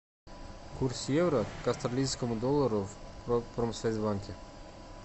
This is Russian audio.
курс евро к австралийскому доллару в промсвязьбанке